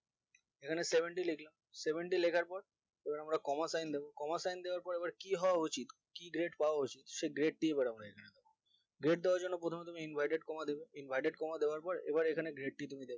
এখানে seventy লিখলাম seventy লিখার পর এবার আমরা coma sign দেব coma sign দেওয়ার পরে আবার কি হয় উচিত কি grade পাওয়া উচিত সে grade দিবো এবার আমরা এখানে grade দেওয়ার জন্য প্রথমে তুমি inverted comma দেবে inverted comma দেওয়ার পর এবার এখানে grade টি তুমি দেবে